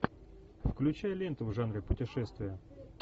включай ленту в жанре путешествия